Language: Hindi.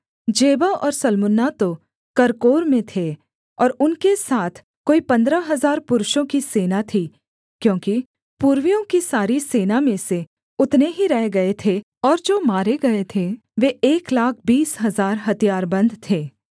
जेबह और सल्मुन्ना तो कर्कोर में थे और उनके साथ कोई पन्द्रह हजार पुरुषों की सेना थी क्योंकि पूर्वियों की सारी सेना में से उतने ही रह गए थे और जो मारे गए थे वे एक लाख बीस हजार हथियारबन्द थे